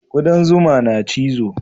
Kudan zuma na cizo